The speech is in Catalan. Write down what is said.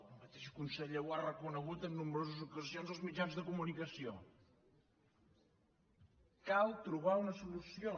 el mateix conseller ho ha reconegut en nombroses ocasions als mitjans de comunicació cal trobar una solució